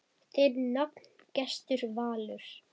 Þinn nafni, Gestur Valur.